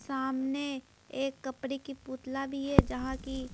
सामने एक कपड़े की पुतला भी हैजहां की।